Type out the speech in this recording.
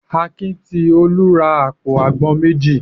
Akin ti Olú ra àpò àgbọn méjì.